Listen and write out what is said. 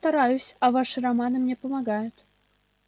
но я стараюсь а ваши романы мне помогают